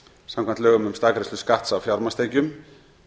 samkvæmt lögum um staðgreiðslu skatts af fjármagnstekjum